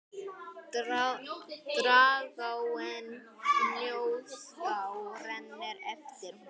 Dragáin Fnjóská rennur eftir honum.